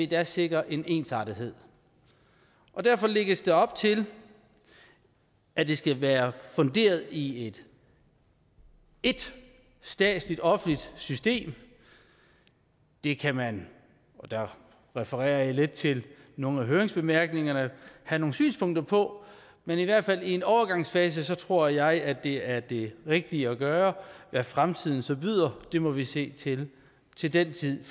gas sikrer en ensartethed derfor lægges der op til at det skal være funderet i ét statsligt offentligt system det kan man og der refererer jeg lidt til nogle af høringsbemærkningerne have nogle synspunkter på men i hvert fald i en overgangsfase tror jeg at det er det rigtige at gøre hvad fremtiden så byder må vi se til til den tid